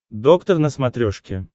доктор на смотрешке